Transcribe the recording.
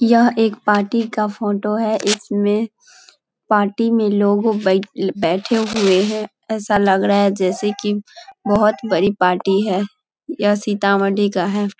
यह एक पार्टी का फोटो है इसमें पार्टी में लोगो बै बैठे हुए हैं | ऐसा लग रहा है जैसे कि बहोत बड़ी पार्टी है यह सीतामडी का है |